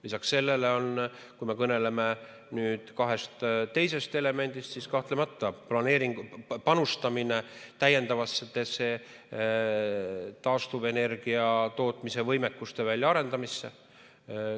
Lisaks sellele, kui me kõneleme kahest teisest elemendist, siis kahtlemata on see panustamine täiendavatesse taastuvenergiatootmise võimekuste väljaarendamisse.